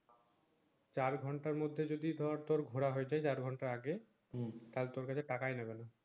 চার ঘন্টার মধ্যে তোর যদি তোর ঘোরা হয়েছে চার ঘন্টা আগে তা তোর কাছে টাকায় নিবে না